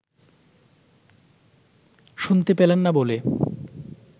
শুনতে পেলেন না বলে